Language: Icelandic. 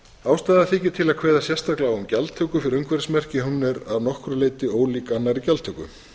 ástæða þykir til að kveða sérstaklega á um gjaldtöku fyrir umhverfismerki hún er að nokkru leyti ólík annarri gjaldtöku